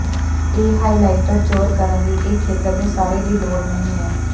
ਇਹ ਹਾਈਲਾਇਟਰ ਜ਼ੋਰ ਕਰਨ ਲਈ ਇਹ ਖੇਤਰ ਦੇ ਸਾਰੇ ਦੀ ਲੋੜ ਨਹੀ ਹੈ